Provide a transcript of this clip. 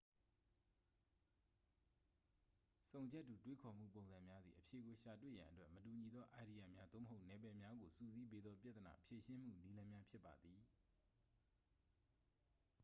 ဆုံချက်တူ တွေးခေါ်မှုပုံစံများသည် အဖြေကိုရှာတွေ့ရန်အတွက် မတူညီသောအိုင်ဒီယာများ သို့မဟုတ် နယ်ပယ်များကို စုစည်းပေးသော ပြဿနာဖြေရှင်းမှုနည်းလမ်းများဖြစ်ပါသည်